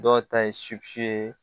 Dɔw ta ye ye